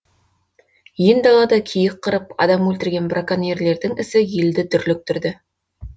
ен далада киік қырып адам өлтірген браконьерлердің ісі елді дүрліктірді